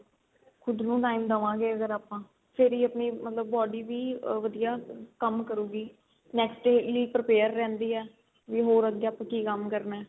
ਖੁਦ ਨੂੰ time ਦੇਵਾ ਗੇ ਅਗਰ ਆਪਾਂ ਫੇਰ ਈ ਆਪਣੀ body ਵੀ ਆ ਵਧੀਆ ਕੰਮ ਕਰੂਗੀ next day ਲਈ prepare ਰਹਿੰਦੀ ਏ ਵੀ ਹੋਰ ਅੱਗੇ ਆਪਾਂ ਕੀ ਕੰਮ ਕਰਨਾ